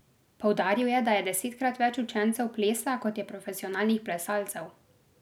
Poudaril je, da je desetkrat več učencev plesa kot je profesionalnih plesalcev.